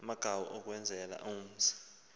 umagawu ukwenzela umzi